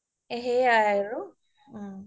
সেইয়াই আৰু উম